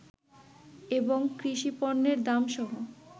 এবং কৃষিপণ্যের দাম সহ